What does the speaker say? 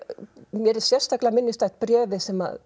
mér er sérstaklega minnisstætt bréfið sem